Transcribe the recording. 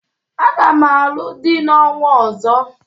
Aga m alụ di n'ọnwa ọzọ.